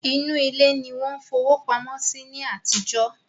Inú ilé ni wọ́n fowó pamọ́ sí ní àtijọ́